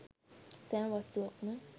සෑම වස්තුවක්ම